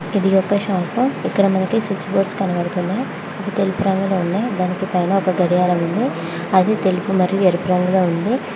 ఇదొక షాపు ఇక్కడ మనకు స్విచ్ బోర్డ్ తెలుపు రంగులో ఉన్నది దానికి పైన ఒక గడియారం ఉంది అది తెలుపు మరియు ఎరుపు రంగులో ఉంది.